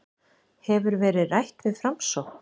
Hefur verið rætt við Framsókn